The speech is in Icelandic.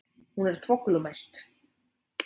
Hún er þvoglumælt.